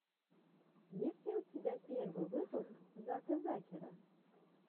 есть ли у тебя первый выпуск зака закера